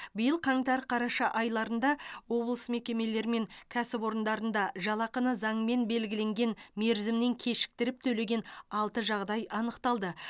биыл қаңтар қараша айларында облыс мекемелері мен кәсіпорындарында жалақыны заңмен белгіленген мерзімнен кешіктіріп төлеген алты жағдай анықталды